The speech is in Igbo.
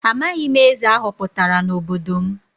Amaghị m eze a họpụtara n’obodo m.